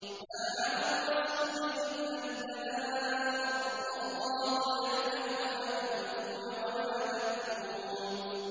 مَّا عَلَى الرَّسُولِ إِلَّا الْبَلَاغُ ۗ وَاللَّهُ يَعْلَمُ مَا تُبْدُونَ وَمَا تَكْتُمُونَ